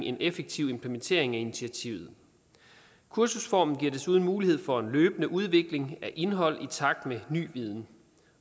en effektiv implementering af initiativet kursusformen giver desuden mulighed for løbende udvikling af indhold i takt med ny viden